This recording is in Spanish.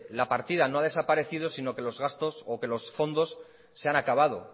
la partida no ha desaparecido sino que los gastos o que los fondos se han acabado